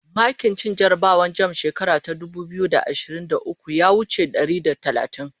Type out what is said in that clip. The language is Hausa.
makin cin jarabawan jamb shekara ta dubu biyu da ashirin da ukwu ya wuce ɗari da talatin